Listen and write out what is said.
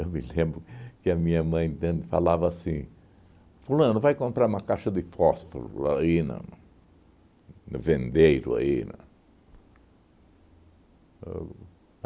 Eu me lembro que a minha mãe tanto falava assim, fulano, vai comprar uma caixa de fósforo aí na no vendeiro aí na o